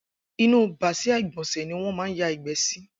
Inú bàsiá igbọnsẹ̀ niwọn mà n yàgbẹ si